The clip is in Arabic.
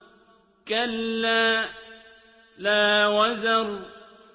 كَلَّا لَا وَزَرَ